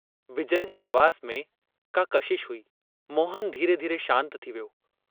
विजय जी आवाज में का कशिश हुई, मोहन धीरे-धीरे शान्त थी वियो।